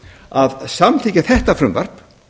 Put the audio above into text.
að samþykkja þetta frumvarp